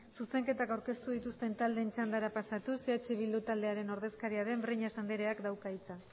zuzenketak aurkeztu dituzten taldeen txandara pasatuz eh bildu taldearen ordezkaria den breñas andreak dauka hitza